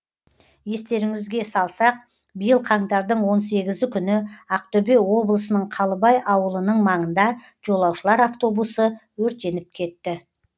естеріңізге салсақ биыл қаңтардың он сегізі күні ақтөбе облысының қалыбай ауылының маңында жолаушылар автобусы өртеніп кетті